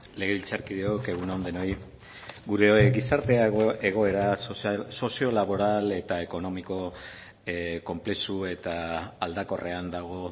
legebiltzarkideok egun on denoi gure gizarte egoera sozio laboral eta ekonomiko konplexu eta aldakorrean dago